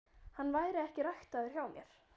Hann væri ekki ræktaður hjá mér.